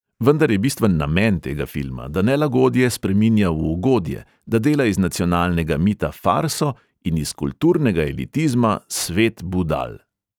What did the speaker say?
Vendar je bistven namen tega filma, da nelagodje spreminja v ugodje, da dela iz nacionalnega mita farso in iz kulturnega elitizma svet budal.